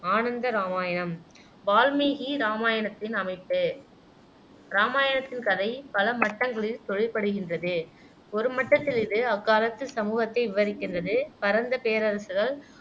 ஆனந்த இராமாயணம் வால்மீகி இராமாயணத்தின் அமைப்பு இராமாயணத்தின் கதை பல மட்டங்களில் தொழிற்படுகின்றது ஒரு மட்டத்தில் இது அக்காலத்துச் சமூகத்தை விவரிக்கின்றது பரந்த பேரரசுகள்